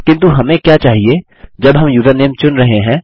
किन्तु हमें क्या चहिये जब हम यूज़रनेम चुन रहे हैं